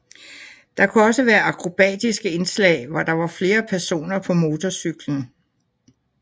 Der kunne også være akrobatiske indslag hvor der var flere personer på motorcyklen